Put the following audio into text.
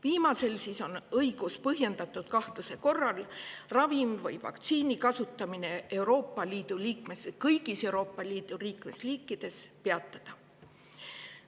Viimasel on õigus põhjendatud kahtluse korral ravimi või vaktsiini kasutamine kõigis Euroopa Liidu liikmesriikides peatada.